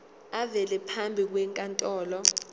avele phambi kwenkantolo